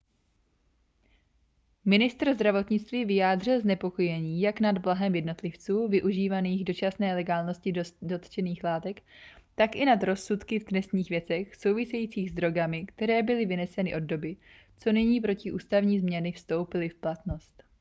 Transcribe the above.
ministr zdravotnictví vyjádřil znepokojení jak nad blahem jednotlivců využívajících dočasné legálnosti dotčených látek tak i nad rozsudky v trestních věcech souvisejících s drogami které byly vyneseny od doby co nyní protiústavní změny vstoupily v platnost